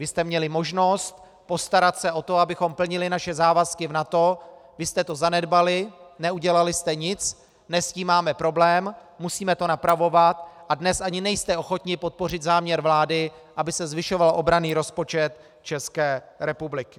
Vy jste měli možnost postarat se o to, abychom plnili naše závazky v NATO, vy jste to zanedbali, neudělali jste nic, dnes s tím máme problém, musíme to napravovat a dnes ani nejste ochotni podpořit záměr vlády, aby se zvyšoval obranný rozpočet České republiky.